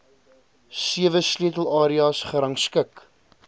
sewe sleutelareas gerangskik